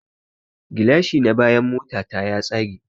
Gilashi na bayan motana ya tsage